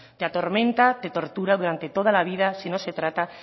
te atormenta te tortura durante toda la vida si no se trata